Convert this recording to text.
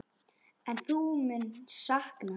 En hún mun sakna hans.